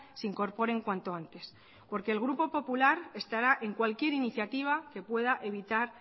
se incorporen cuanto antes porque el grupo popular estará en cualquier iniciativa que pueda evitar